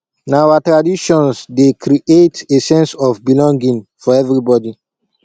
na our traditions dey create a sense of belonging for everybody